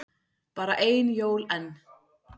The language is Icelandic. Bara ein jól enn.